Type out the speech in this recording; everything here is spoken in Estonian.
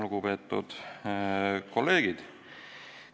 Lugupeetud kolleegid!